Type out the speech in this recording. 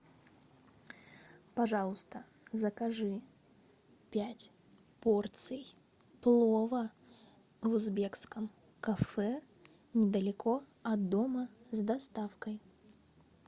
пожалуйста закажи пять порций плова в узбекском кафе недалеко от дома с доставкой